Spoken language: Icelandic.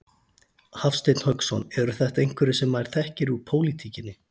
Hafsteinn Hauksson: Eru þetta einhverjir sem maður þekkir úr pólitíkinni?